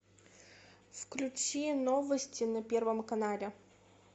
включи новости на первом канале